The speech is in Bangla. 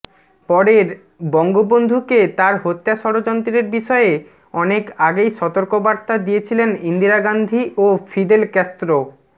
পরেরঃ বঙ্গবন্ধুকে তার হত্যা ষড়যন্ত্রের বিষয়ে অনেক আগেই সতর্কবার্তা দিয়েছিলেন ইন্দিরা গান্ধী ও ফিদেল ক্যাস্ত্রো